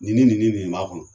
Nin nin nin nin nin b'a kɔnɔ.